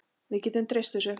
Við getum treyst þessu.